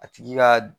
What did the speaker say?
A tigi ka